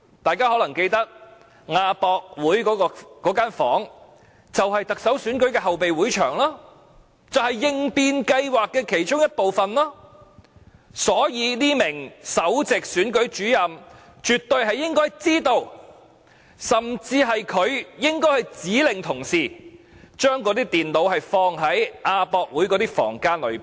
大家可能記得，亞博館那間房間，即特首選舉的後備會場，就是應變計劃的其中一部分，所以這名首席選舉事務主任絕對應該知道，甚至可能是他指令同事，將那些電腦放在亞博館的房間裏。